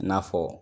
I n'a fɔ